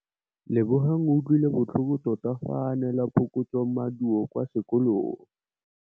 Lebogang o utlwile botlhoko tota fa a neelwa phokotsômaduô kwa sekolong.